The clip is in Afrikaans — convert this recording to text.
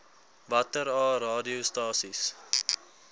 watter aa radiostasies